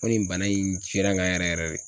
Ko nin bana in n ka yɛrɛ yɛrɛ de.